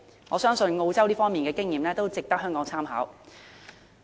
我相信澳洲在這方面的經驗值得香港參考。